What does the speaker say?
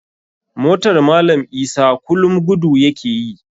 Motar malam isa kulum gudu ya ke yi.